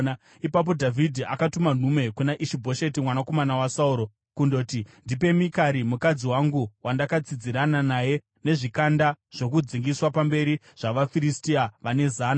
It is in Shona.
Ipapo Dhavhidhi akatuma nhume kuna Ishi-Bhosheti mwanakomana waSauro, kundoti, “Ndipe Mikari mudzimai wangu, wandakatsidzirana naye nezvikanda zvokudzingiswa zvapamberi zvavaFiristia vane zana.”